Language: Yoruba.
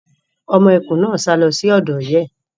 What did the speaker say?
Ọmọ ẹkùn náà sá lọ sí ọ̀dọ̀ ìyá ẹ̀.